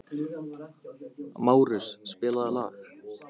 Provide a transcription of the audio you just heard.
Márus, spilaðu lag.